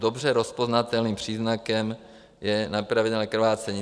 Dobře rozpoznatelným příznakem je nepravidelné krvácení.